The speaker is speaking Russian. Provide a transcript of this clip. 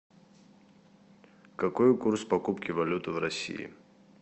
какой курс покупки валюты в россии